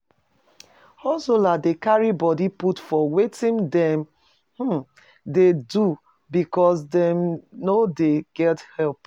Hustlers dey carry body put for wetin dem um dey do because dem no dey get help